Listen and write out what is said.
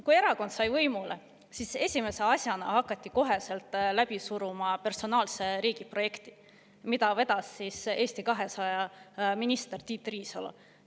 Kui erakond sai võimule, siis esimese asjana hakati kohe läbi suruma personaalse riigi projekti, mida vedas Eesti 200 minister Tiit Riisalo.